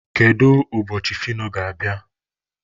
Kedu ụbọchị Fino ga-abịa?